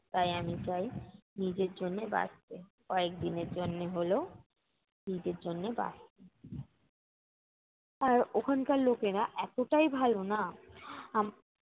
তাই আমি চাই, নিজের জন্য বাঁচতে। কয়েক দিনের জন্যে হলেও নিজের জন্যে বাঁচতে। আর ওখানকার লোকেরা এতোটাই ভালো না উম